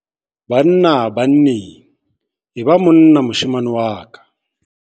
Banna-banneng. E ba monna moshemane wa ka.